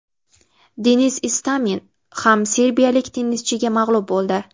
Denis Istomin ham serbiyalik tennischiga mag‘lub bo‘ldi.